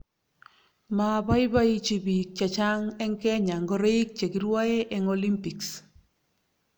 Maaboiboichi bik che cheng' eng Kenya ngoroik che kirwae eng Olympics